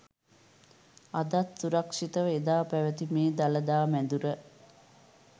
අදත් සුරක්‍ෂිතව එදා පැවැති මේ දළදා මැදුර